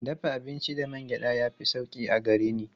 Dafa abinci da man gyaɗa ya fi sauƙi a gare ni.